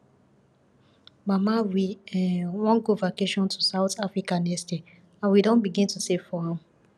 mama we um wan go vacation to south africa next year and we don begin to save for am